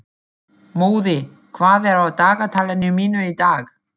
Móði, hvað er á dagatalinu mínu í dag?